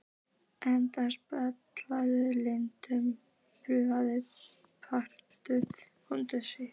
Aldey, spilaðu lagið „Punktur, punktur, komma, strik“.